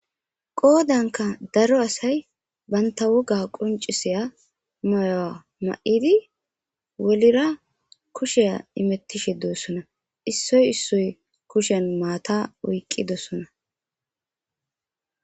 Qoodanka daro asay banta woga qoncisiya mayuwa ma7idi wolira kusheya imettishe dossona issoy issoy kushen maata oyqqidossona.